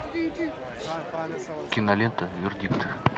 кинолента вердикт